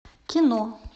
кино